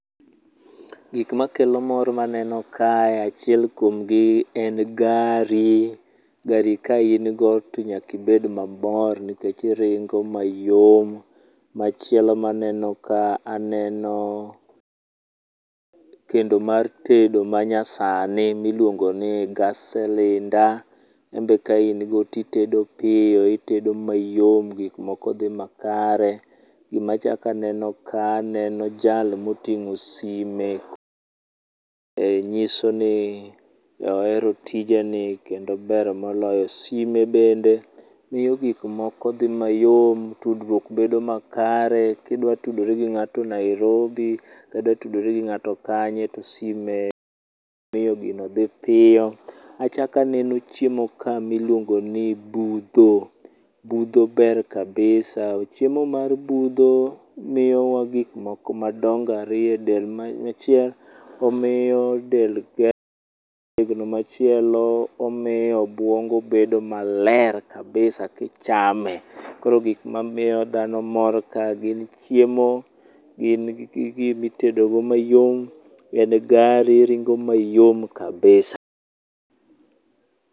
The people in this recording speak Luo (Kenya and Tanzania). Gik makelo mor maneno kae achiel kuomgi en gari, gari ka in go to nyaka ibed mamor nikech iringo mayom. Machielo ma aneno ka aneno kendo mar tedo manyasani miluongo ni gas cylinder. En be kain go to itedo piyo, itedo mayom gik moko dhi makare. Gima achako aneno ka aneno jal ma oting'o sime. Nyiso ni ohero tijeni kendo ber moloyo. Sime bende miyo gik moko dhi mayom tudruok bedo makare kidwa tudri gi ng'ato Nairobi kidwa tudri gi ng'ato kanye to sime miyo gino dhi piyo. Achako aneno chiemo kae miluongo ni budho, budho ber kabisa, chiemo mar budho miyowa gik moko madongo ariyo edel, achiel omiyo del tegno, machielo omiyo obuongo bedo maler kabisa ka ichame. Koro gik mamiyo dhano mor kae gin chiemo gin gi gima itedogo chiemo mayom, en gari maringo mayom kabisa.